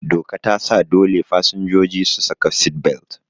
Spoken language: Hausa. Doka tasa dole fasinjoji su saka sit-belt